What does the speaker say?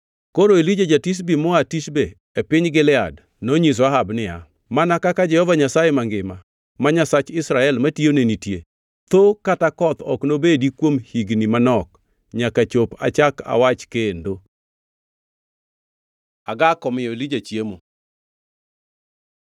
Koro Elija ja-Tishbi moa Tishbe e piny Gilead nonyiso Ahab niya, “Mana kaka Jehova Nyasaye mangima, ma Nyasach Israel matiyone nitie, tho kata koth ok nobedi kuom higni manok nyaka chop achak awach kendo.” Agak omiyo Elija chiemo